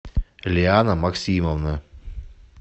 лиана максимовна